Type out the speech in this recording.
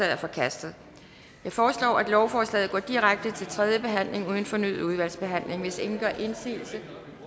er forkastet jeg foreslår at lovforslaget går direkte til tredje behandling uden fornyet udvalgsbehandling hvis ingen gør indsigelse